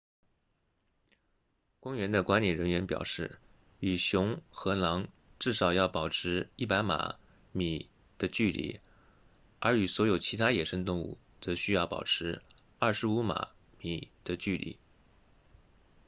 公园的管理人员表示与熊和狼至少要保持100码米的距离而与所有其他野生动物则需要保持25码米的距离